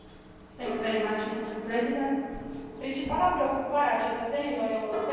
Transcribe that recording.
Principala preocupare a cetățenilor europeni este legată de păstrarea locurilor de muncă.